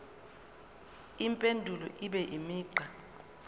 impendulo ibe imigqa